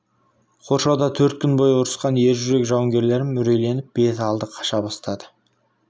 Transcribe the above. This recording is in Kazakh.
қоршауда төрт күн бойы ұрысқан ержүрек жауынгерлерім үрейленіп бет алды қаша бастады